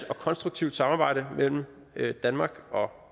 og konstruktivt samarbejde mellem danmark og